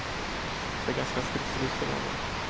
Jag är ganska stridslysten av mig.